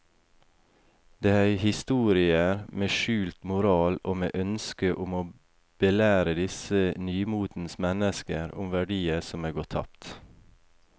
Det er historier med skjult moral og med ønske om å belære disse nymotens mennesker om verdier som er gått tapt.